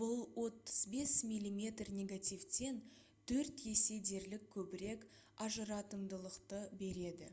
бұл 35 мм негативтен төрт есе дерлік көбірек ажыратымдылықты береді